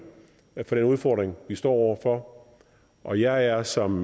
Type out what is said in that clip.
med hensyn til den udfordring vi står over for og jeg er som